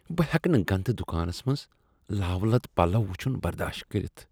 بہٕ ہیٚکہٕ نہٕ گندٕ دکانس منز لاوٕ لد پلو ؤچھن برداشت کٔرِتھ۔